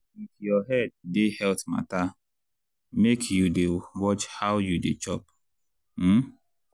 if your head dey health matter make you dey watch how you dey chop. um